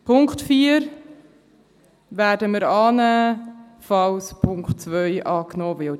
Den Punkt 4 werden wir annehmen, falls der Punkt 2 angenommen wird.